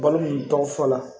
Balo nin tɔw fɔra